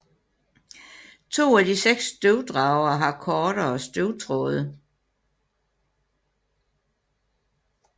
To af de seks støvdragere har kortere støvtråde